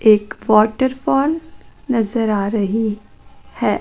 एक waterfall नज़र आ रही है।